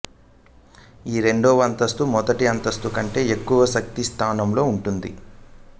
ఈ రెండవ అంతస్తు మొదటి అంతస్తు కంటే ఎక్కువ శక్తి స్థానంలో ఉంటుంది